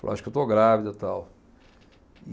Eu acho que eu estou grávida, tal. E